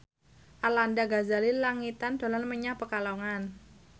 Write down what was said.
Arlanda Ghazali Langitan dolan menyang Pekalongan